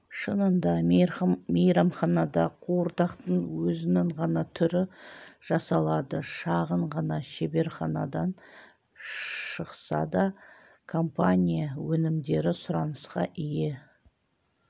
шынында мейрамханада қуырдақтың өзінің ғана түрі жасалады шағын ғана шеберханадан шықса да компания өнімдері сұранысқа ие